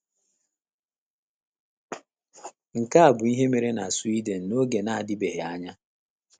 Nke a bụ ihe mere na Sweden n’oge na - adịbeghị anya.